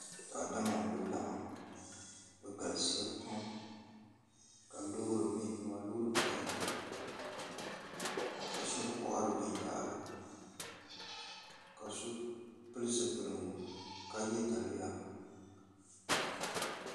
Daadama n kuli laɣam bi galisiya pam ka loori bɛ nimaani loori piɛlli ka shab kohari binyahari ka so pili zipiligu ka yɛ daliya